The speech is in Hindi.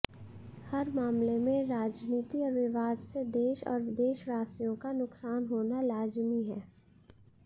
हर मामले में राजनीति और विवाद से देश और देशवासियों का नुकसान होना लाजिमी है